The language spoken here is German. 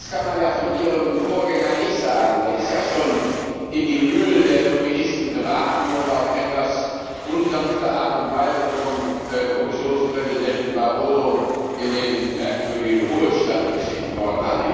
Das kann man ja von Ihrem Vorgänger nicht sagen, der ist in die Mühlen der Lobbyisten geraten und auf etwas unsanfte Weise von Kommissionspräsidenten Barroso in den merkwürdigen Ruhestand geschickt worden.